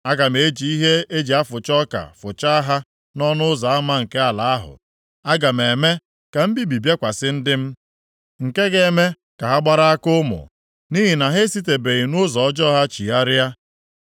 Aga m eji ihe e ji afụcha ọka fụchaa ha nʼọnụ ụzọ ama nke ala ahụ. Aga m eme ka mbibi bịakwasị ndị m, nke ga-eme ka ha gbara aka ụmụ, nʼihi na ha esitebeghị nʼụzọ ọjọọ ha chigharịa.